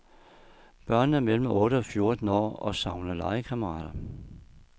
Børnene er mellem otte og fjorten år og savner legekammerater.